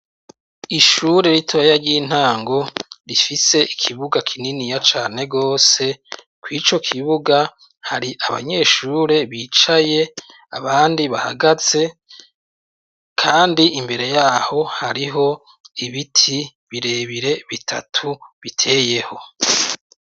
Ishure ritoya ry'intango rifise ikibuga kininiya cane gose, kw' ico kibuga hari abanyeshure bicaye abandi bahagaze kandi imbere yaho hariho ibiti birebire bitatu biteyeho.